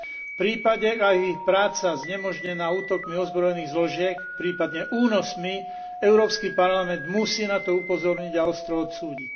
V prípade, ak je ich práca znemožnená útokmi ozbrojených zložiek, prípadne únosmi, Európsky parlament musí na to upozorniť a ostro odsúdiť.